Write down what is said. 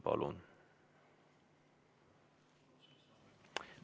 Palun!